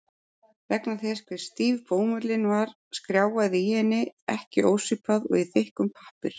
Vegna þess hve stíf bómullin var skrjáfaði í henni ekki ósvipað og í þykkum pappír.